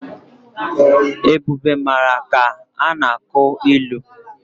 Ebube mara ka a na-akụ ilu.